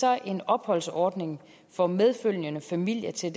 er en opholdsordning for medfølgende familier til